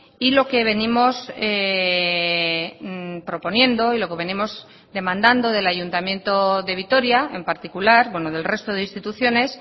y lo que venimos proponiendo y lo que venimos demandando del ayuntamiento de vitoria en particular bueno del resto de instituciones